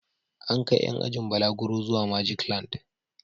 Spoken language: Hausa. An kai ƴan ajin balaguro zuwa Majiklan.